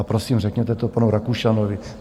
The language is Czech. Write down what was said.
A prosím, řekněte to panu Rakušanovi.